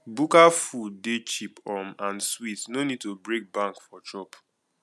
bukka food dey cheap um and sweet no need to break bank for chop